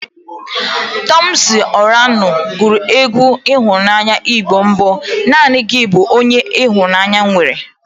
Tọmpsịn Ọranụ gụrụ egwu ịhụnanya Igbo bụ "Naanị gị bụ onye m nwere"